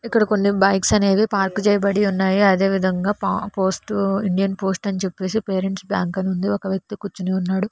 ఇక్కడ కొన్ని బైక్స్ అనేవి పార్క్ చేయబడి ఉన్నాయి అదే విధంగా ప పోస్టు ఇండియన్ పోస్ట్ అని చెప్పేసి పేరెంట్స్ బ్యాంక్ అని ఉంది ఒక వ్యక్తి కూర్చుని ఉన్నాడు.